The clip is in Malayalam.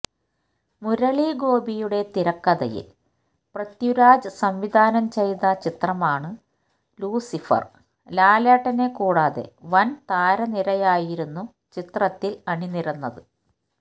മുരളി ഗോപിയുടെ തിരക്കഥയിൽ പൃഥ്വിരാജ് സംവിധാനം ചെയ്ത ചിത്രമാണ് ലൂസിഫർ ലാലേട്ടനെ കൂടാതെ വൻ താരനിരയായിരുന്നു ചിത്രത്തിൽ അണിനിരന്നത്